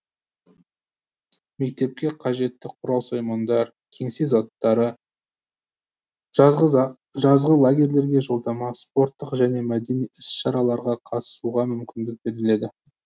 мектепке қажетті құрал саймандар кеңсе заттары жазғы лагерьлерге жолдама спорттық және мәдени іс шараларға қатысуға мүмкіндік беріледі